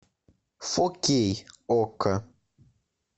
фо кей окко